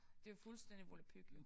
Det jo fuldstændig volapyk